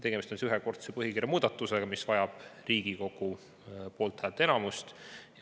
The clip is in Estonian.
Tegemist on ühekordse põhikirja muudatusega, mis vajab Riigikogu poolthäälte enamust.